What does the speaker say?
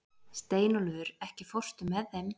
Steinólfur, ekki fórstu með þeim?